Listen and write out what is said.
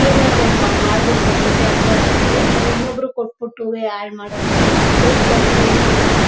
ಏನೇ ಅದ್ರು ನಮಗೆ ಮಾಡಬೇಕು ಅಂದ್ರೆ ತೊಂದ್ರೆ ಅದ್ರುವೇ ಈವಾಗ ಇನೊಬ್ರುಗೆ ಕೊಟ್ಟು ಬಿಟ್ಟು ಹಾಳು ಮಾಡುದು ಬೇಡ ಅಂತ ತೊಂದ್ರೆ ಏನು ಇಲ್ಲ.